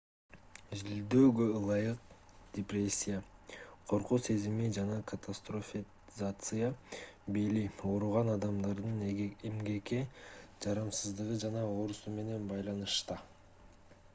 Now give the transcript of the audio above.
изилдөөгө ылайык депрессия коркуу сезими жана катастрофизация бели ооруган адамдардын эмгекке жарамсыздыгы жана оорусу менен байланышта